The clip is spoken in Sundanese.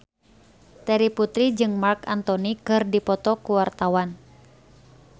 Terry Putri jeung Marc Anthony keur dipoto ku wartawan